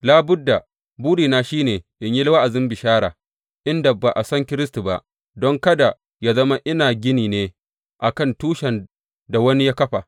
Labudda, burina shi ne in yi wa’azin bishara inda ba a san Kiristi ba, don kada yă zama ina gini ne a kan tushen da wani ya kafa.